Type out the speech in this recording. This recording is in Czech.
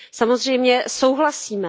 Samozřejmě souhlasíme.